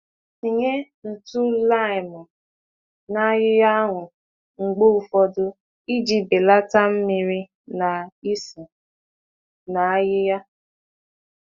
Tee akwa n'ala ájá na ntụ nnu lime oge ụfọdụ ka mmiri ghara ikpọnwụ na ka isi ísì dịrị ala.